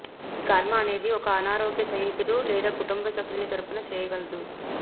ఈ కర్మ అనేది ఒక అనారోగ్య స్నేహితుడు లేదా కుటుంబ సభ్యుని తరపున చేయగలదు